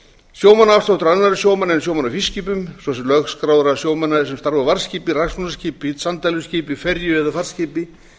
sjómannaafsláttur annarra sjómanna en sjómanna á fiskiskipum svo sem lögskráðra sjómanna sem starfa á varðskipi sanddæluskipi ferju eða farskipi sem